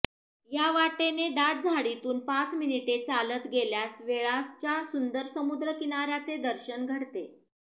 या वाटेने दाट झाडीतून पाच मिनिटे चालत गेल्यास वेळासच्या सुंदर समुद्र किनाऱ्याचे दर्शन घडते